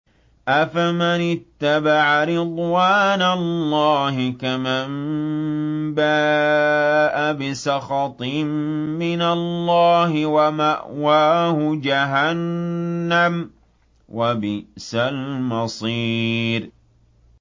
أَفَمَنِ اتَّبَعَ رِضْوَانَ اللَّهِ كَمَن بَاءَ بِسَخَطٍ مِّنَ اللَّهِ وَمَأْوَاهُ جَهَنَّمُ ۚ وَبِئْسَ الْمَصِيرُ